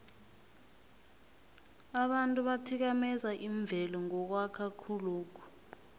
abantu bathikameza imvelo ngokwakha khulokhu